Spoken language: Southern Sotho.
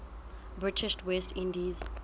british west indies